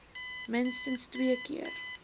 minstens twee keer